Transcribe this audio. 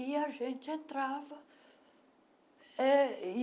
E a gente entrava. eh e